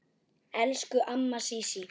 Elsku amma Sísí.